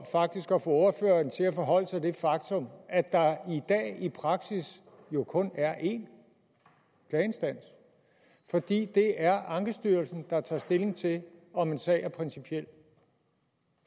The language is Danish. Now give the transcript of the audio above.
faktisk at få ordføreren til at forholde sig til det faktum at der i dag i praksis jo kun er en klageinstans fordi det er ankestyrelsen der tager stilling til om en sag er principiel